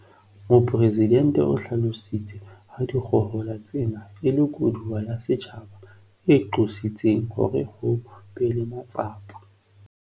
Mopresidente o hlalositse ha dikgohola tsena e le koduwa ya setjhaba e qositseng hore ho be le matsapa